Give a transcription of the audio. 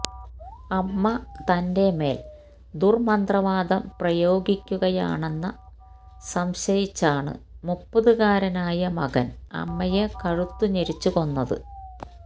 അമ്മ തന്റെ മേല് ദുര്മന്ത്രവാദം പ്രയോഗിക്കുകയാണെന്ന സംശയിച്ചാണ് മുപ്പതുകാരനായ മകന് അമ്മയെ കഴുത്തുഞെരിച്ച് കൊന്നത്